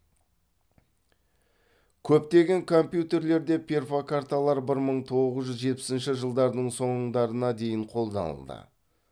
көптеген компьютерлерде перфокарталар бір мың тоғыз жүз жетпісінші жылдардың соңдарына дейін қолданылды